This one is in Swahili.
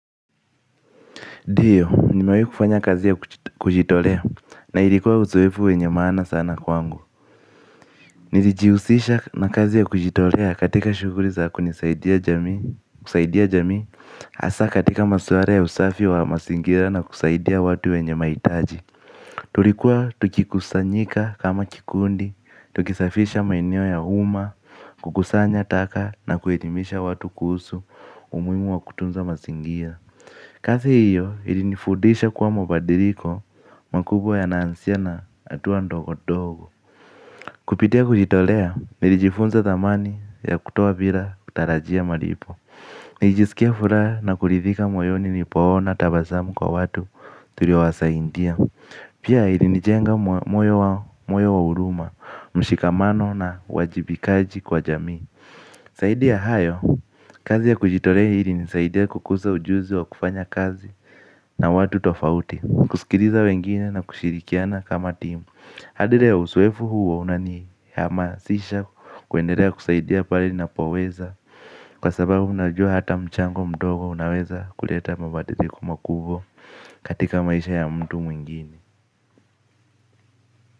Diyo, nimewai kufanya kazi ya kujitolea na ilikuwa uzoefu wenye maana sana kwangu. Nilijiusisha na kazi ya kujitolea katika shuguri za kunisaidia jamii, kusaidia jamii asa katika masware ya usafi wa masingira na kusaidia watu wenye maitaji. Tulikuwa tukikusanyika kama kikundi, tukisafisha maeneo ya umma, kukusanya taka na kuelimisha watu kuusu, umuimu wa kutunza masingira. Kazi hiyo ilinifudisha kwa mabadiriko makubwa yanaansia na atuwa ndogo-dogo. Kupitia kujitolea nilijifunza thamani ya kutoa bila kutarajia maripo. Nilijisikia furaha na kulithika moyoni nipoona tabasamu kwa watu tuliowasaindia. Pia ilinijenga moyo wa uruma, mshikamano na uwajibikaji kwa jamii. Saidi ya hayo, kazi ya kujitorea ilinisaidia kukusa ujuzi wa kufanya kazi na watu tofauti. Kusikiriza wengine na kushirikiana kama timu. Hadi leo usoefu huo unanihamasisha kuenderea kusaidia pale ninapoweza. Kwa sababu najua hata mchango mdogo unaweza kuleta mabadiliko makubwa katika maisha ya mtu mwingine.